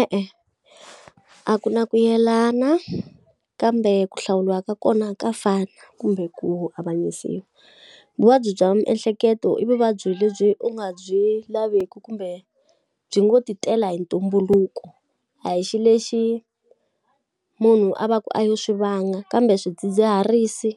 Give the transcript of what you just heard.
E-e, a ku na ku yelana kambe ku hlawuriwa ka kona ka fana kumbe ku avanyisiwa. Vuvabyi bya miehleketo i vuvabyi lebyi u nga byi laviki kumbe byi ngo ti tela hi ntumbuluko, a hi xilo lexi munhu a va ku a yo swi vanga. Kambe swidzidziharisi,